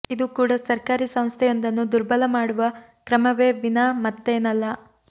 ಇದು ಕೂಡ ಸರ್ಕಾರೀ ಸಂಸ್ಥೆಯೊಂದನ್ನು ದುರ್ಬಲ ಮಾಡುವ ಕ್ರಮವೇ ವಿನಾ ಮತ್ತೇನಲ್ಲ